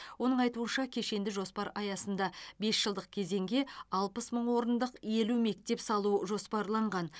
оның айтуынша кешенді жоспар аясында бес жылдық кезеңге алпыс мың орындық елу мектепсалу жоспарланған